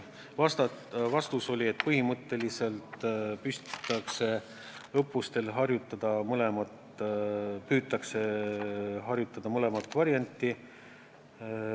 Vastus oli, et põhimõtteliselt püütakse õppustel harjutada mõlemat varianti.